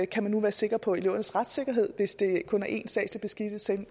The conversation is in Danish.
kan man nu være sikker på elevernes retssikkerhed hvis der kun er én statslig beskikket censor